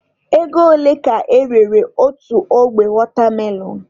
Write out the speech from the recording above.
Ego ole ka erere otu ogbe wọtamelọn?